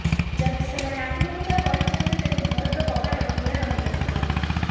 ଯଦି ସେମାନେ ଆତ୍ମହତ୍ୟା କରିଥାନ୍ତେ ତେବେ ଘରର କବାଟ ଖୋଲା ରହି ନ ଥାନ୍ତା